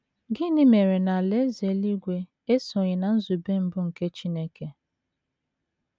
Gịnị mere na Alaeze eluigwe esoghị ná nzube mbụ nke Chineke?